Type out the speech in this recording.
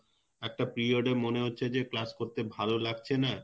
একটা period এ মনে হচ্ছে class করতে ভালো লাগছে না